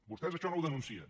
vostès això no ho denuncien